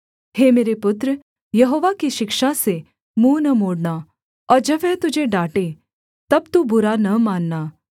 हे मेरे पुत्र यहोवा की शिक्षा से मुँह न मोड़ना और जब वह तुझे डाँटे तब तू बुरा न मानना